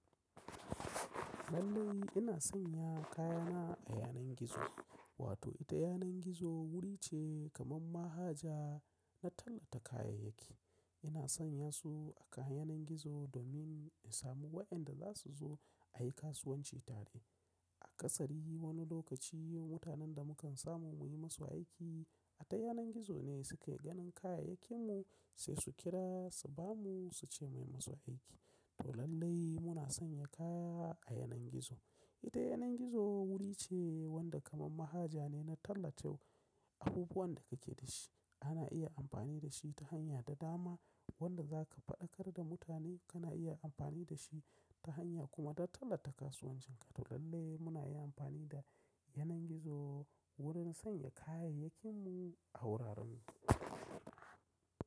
Lallai ina sanya kayana a yanan gizo, wato ita yanan gizo wuri ce kaman mahaja na tallata kayayyaki. Ina sanya su a kan yanan gizo domin in samu wayenda za su zo ayi kasuwanci tare. A kasari wani lokaci mutanen da mukan samu muyi musu aiki, a ta yanan gizo ne suke ganin kayayyakin mu sai su kira su bamu, suce muyi musu aiki. To lallai muna sanya kaya a yanar gizo. Ita yanar gizo wuri ce wanda kamar mahaja ne na tallato abubuwan da kake da shi. Ana iya amfani da shi ta hanya da dama wanda za ka faɗakar da mutane kana iya amfani da shi ta hanya kuma don tallata kasuwancin ka. To lallai muna yi amfani da yanar gizo wurin sanya kayayyakin mu a wuraren.